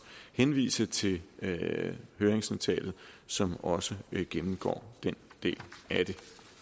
henvise til høringsnotatet som også gennemgår den del af det